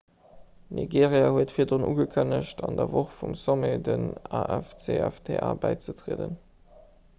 nigeria huet virdrun ugekënnegt an der woch vum sommet dem afcfta bäizetrieden